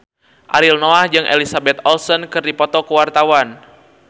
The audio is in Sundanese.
Ariel Noah jeung Elizabeth Olsen keur dipoto ku wartawan